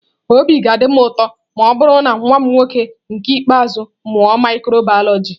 Obi ga-adị m ụtọ ma ọ bụrụ na nwa m nwoke nke ikpeazụ mụọ Mikrobioloji.